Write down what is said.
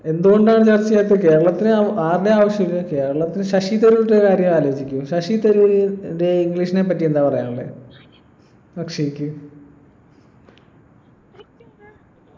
എന്തുകൊണ്ടാണ് ചർച്ച ചെയ്യാത്ത കേരളത്തിനു അഹ് ആരുടേം ആവശ്യമില്ല കേരളത്തിന് ശശി തരൂരിൻ്റെ കാര്യം ആലോചിക്കും ശശി തരൂര് ന്റെ english നേപ്പറ്റി എന്താ പറയാനുള്ളെ അക്ഷയ്‌ക്ക്